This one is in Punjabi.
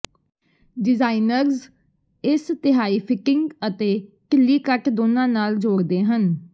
ਡਿਜ਼ਾਇਨਰਜ਼ ਇਸ ਤਿਹਾਈ ਫਿਟਿੰਗ ਅਤੇ ਢਿੱਲੀ ਕਟ ਦੋਨਾਂ ਨਾਲ ਜੋੜਦੇ ਹਨ